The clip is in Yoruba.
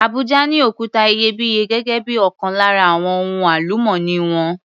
Abuja ní òkuta iyebíye gẹ́gé bí ọkan lára àwon ohun àlùmọ́nì wọn.